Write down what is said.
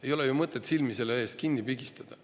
Ei ole ju mõtet siin silmi kinni pigistada.